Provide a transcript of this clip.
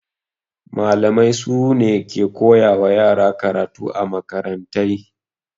Malamai sune suke koya wa yara karatu a makarantai